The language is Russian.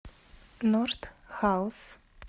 норд хаус